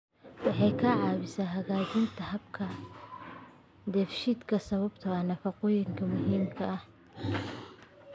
Waxay ka caawisaa hagaajinta habka dheefshiidka sababtoo ah nafaqooyinka muhiimka ah.